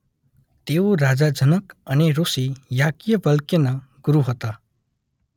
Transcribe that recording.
તેઓ રાજા જનક અને ઋષિ યાજ્ઞવલ્ક્યના ગુરૂ હતા.